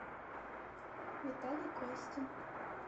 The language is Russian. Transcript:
виталий костин